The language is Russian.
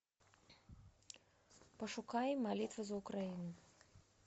пошукай молитва за украину